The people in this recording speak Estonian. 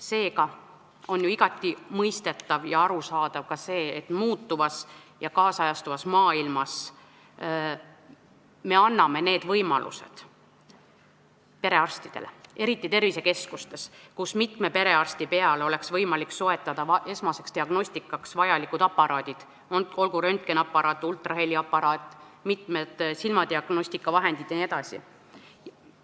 Seega on ju igati mõistetav ja arusaadav ka see, et muutuvas ja nüüdisajastuvas maailmas me anname need võimalused perearstidele, eriti tervisekeskustes, kus mitme perearsti peale oleks võimalik soetada esmaseks diagnostikaks vajalikud aparaadid, olgu see röntgeniaparaat, ultraheliaparaat, silmadiagnostikavahendid vms.